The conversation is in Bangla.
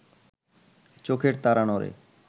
চোখের তারা নড়ে